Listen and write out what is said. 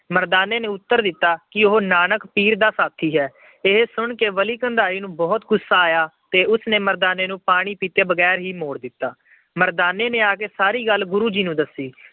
ਮਰਦਾਨੇ ਨੇ ਉੱਤਰ ਦਿੱਤਾ ਕਿ ਉਹ ਨਾਨਕ ਪੀਰ ਦਾ ਸਾਥੀ ਹੈ। ਇਹ ਗੁਣ ਕੇ ਬਲੀ ਕੰਧਾਰੀ ਨੂੰ ਬਹੁਤ ਗੁੱਸਾ ਆਇਆ ਤੇ ਉਸ ਨੇ ਮਰਦਾਨੇ ਨੂੰ ਪਾਣੀ ਦਿੱਤੇ ਬਗੈਰ ਹੀ ਮੋੜ ਦਿੱਤਾ। ਮਰਦਾਨੇ ਨੇ ਆ ਕੇ ਸਾਰੀ ਗੱਲ ਗੁਰੂ ਜੀ ਨੂੰ ਦੱਸੀ।